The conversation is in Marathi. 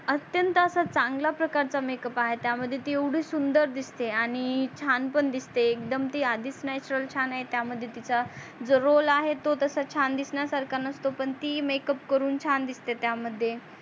अत्यंत असा चांगल्या प्रकारचा makeup आहे त्या मध्ये ती येवडी सुंदर दिसते आणि छान पण दिसते एकदम ती आधीच natural छान आहे त्या मध्ये तिचा जो roll तो तसा छान दिसण्या सारखा नसतो पण ती makeup करून छान दिसते त्या मध्ये